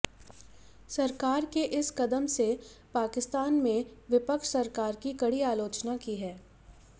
सरकार के इस कदम से पाकिस्तान में विपक्ष सरकार की कड़ी आलोचना की है